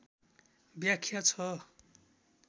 व्याख्या छ